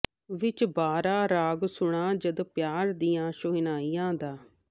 ਵਿੱਚ ਬਹਾਰਾਂ ਰਾਗ ਸੁਣਾਂ ਜਦ ਪਿਆਰ ਦੀਆਂ ਸ਼ਹਿਨਾਈਆਂ ਦਾ